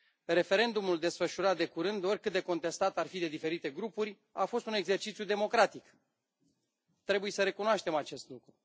Referendumul desfășurat de curând, oricât de contestat ar fi de diferite grupuri, a fost un exercițiu democratic, trebuie să recunoaștem acest lucru.